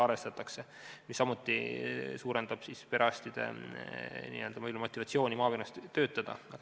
See suurendab samuti perearstide motivatsiooni maakonnas töötada.